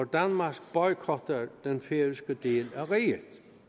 danmark boykotter den færøske del af riget